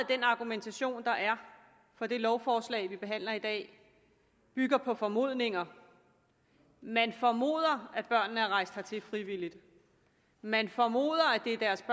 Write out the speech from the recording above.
den argumentation der er for det lovforslag vi behandler i dag bygger på formodninger man formoder at børnene er rejst hertil frivilligt man formoder at det er deres